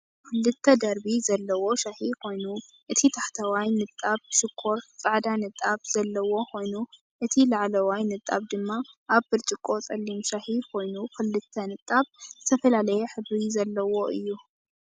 ክልተ ደርቢ ዘለዎ ሻሂ ኮይኑ፡ እቲ ታሕተዋይ ንጣብ ሽኮር ጻዕዳ ንጣብ ዘለዎ ኮይኑ፡ እቲ ላዕለዋይ ንጣብ ድማ ኣብ ብርጭቆ ጸሊም ሻሂ ኮይኑ፡ ክልተ ንጣብ ዝተፈላለየ ሕብሪ ዘለዎ እዩ።